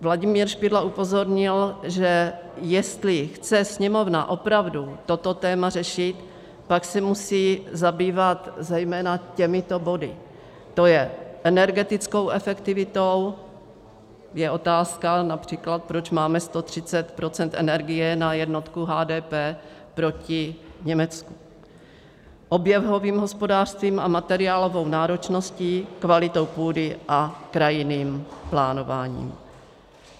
Vladimír Špidla upozornil, že jestli chce Sněmovna opravdu toto téma řešit, pak se musí zabývat zejména těmito body: to je energetickou efektivitou, je otázka například, proč máme 130 % energie na jednotku HDP proti Německu; oběhovým hospodářstvím a materiálovou náročností, kvalitou půdy a krajinným plánováním.